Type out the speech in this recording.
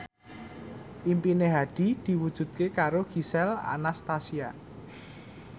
impine Hadi diwujudke karo Gisel Anastasia